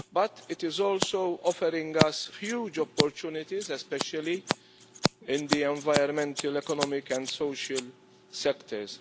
But it is also offers us huge opportunities, especially in the environmental, economic and social sectors.